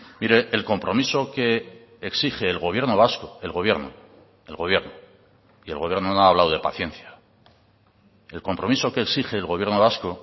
mire el compromiso que exige el gobierno vasco el gobierno el gobierno y el gobierno no ha hablado de paciencia el compromiso que exige el gobierno vasco